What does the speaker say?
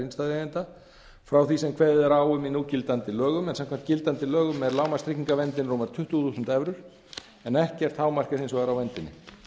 innstæðueigenda frá því sem kveðið er á um í núgildandi lögum en samkvæmt gildandi lögum er lágmarkstryggingaverndin rúmar tuttugu þúsund evrur en ekkert hámark er hins vegar á verndinni